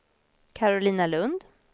Karolina Lund